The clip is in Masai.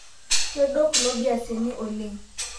Kedua kulo beasini oleng